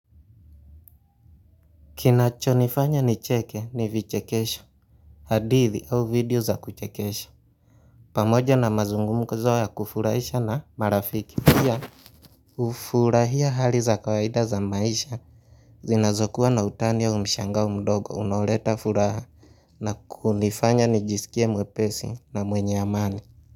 Kinacho nifanya ni cheke ni vichekesho hadithi au video za kuchekesha pamoja na mazungumkuzo ya kufurahisha na marafiki pia hufurahia hali za kawaida za maisha zinazokuwa na utani au mshangao mdogo unoleta furaha na kunifanya nijisikie mwepesi na mwenye amali.